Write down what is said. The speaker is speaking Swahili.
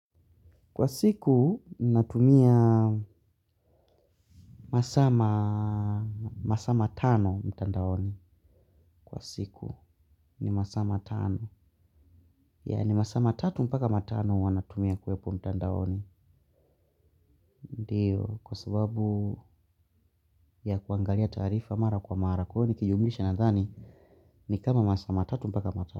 Kwa siku, natumia masaa matano mtandaoni. Kwa siku, ni masama tano. Yani masaa matatu mpaka matano huwa natumia kuwepo mtandaoni. Ndiyo, kwa sababu ya kuangalia taarifa mara kwa mara. Kwa hiyo nikiyumisha nadhani, ni kama masaa matatu mpaka matano.